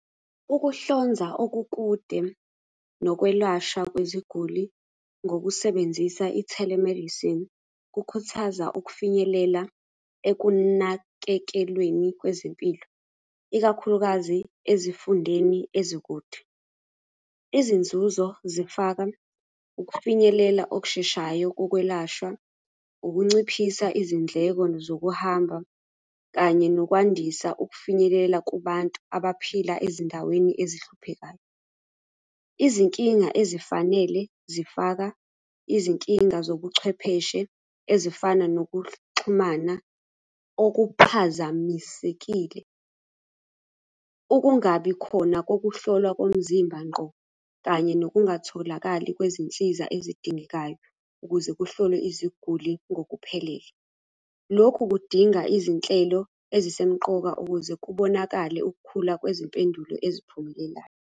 Ukuhlonza okukude nokwelashwa kweziguli ngokusebenzisa i-telemedicine, kukhuthaza ukufinyelela ekunakekelweni kwezempilo, ikakhulukazi ezifundeni ezikude. Izinzuzo zifaka ukufinyelela okusheshayo kokwelashwa, ukunciphisa izindleko zokuhamba kanye nokwandisa ukufinyelela kubantu abaphila ezindaweni ezihluphekayo. Izinkinga ezifanele zifaka izinkinga zobuchwepheshe ezifana nokuxhumana okuphazamisekile. Ukungabi khona kokuhlolwa komzimba ngqo, kanye nokungatholakali kwezinsiza ezidingekayo ukuze kuhlolwe iziguli ngokuphelele. Lokhu kudinga izinhlelo ezisemqoka ukuze kubonakale ukukhula kwezimpendulo eziphumelelayo.